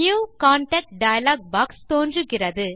new contact dialog box தோன்றுகிறது